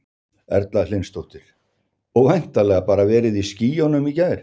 Erla Hlynsdóttir: Og væntanlega bara verið í skýjunum í gær?